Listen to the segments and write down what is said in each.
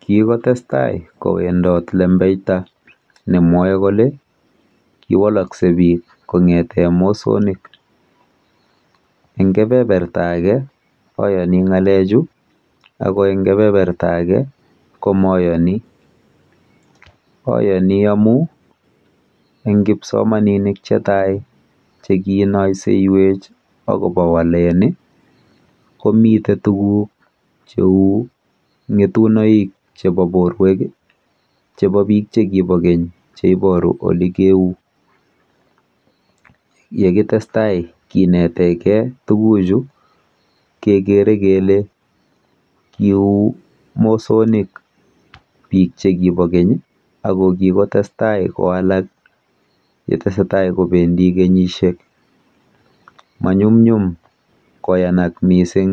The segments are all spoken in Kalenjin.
Kikotestaii kowendoot lembeita nemwaii kolee kiwalakseii piik koeek mosonik ayanii amuun eng kipsomaninik chetaiii komitee tuguuk chepa piik ap keny chaiparuu koleee ngaaa kiuu mosoniik piik chepa keny manyumnyuum koyanak missing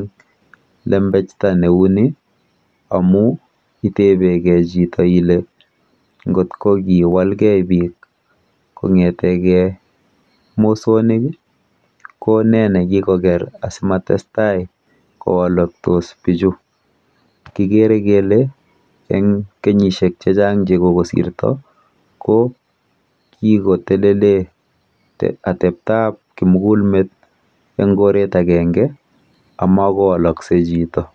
lembeitaa neuu nii ko nee nekikokeer kolee netuuguk chemachee pichhuuu